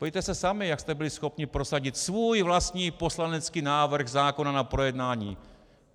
Podívejte se sami, jak jste byli schopni prosadit svůj vlastní poslanecký návrh zákona na projednání.